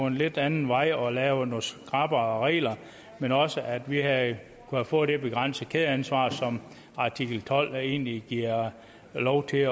en lidt anden vej og havde lavet nogle skrappere regler men også at vi havde kunnet få det begrænsede kædeansvar som artikel tolv egentlig giver lov til